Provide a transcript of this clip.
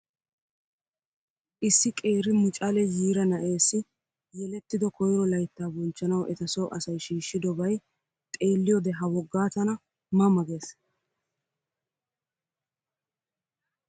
Issi qeeri mucale yiira na''eessi yelettido koyiro layitta bonchchanawu eta so asayi shiishidobayi xeelliyoode ha woggaa tana ma ma ges.